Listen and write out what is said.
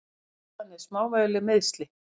Ástæðan er smávægileg meiðsli.